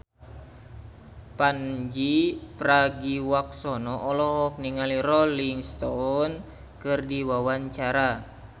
Pandji Pragiwaksono olohok ningali Rolling Stone keur diwawancara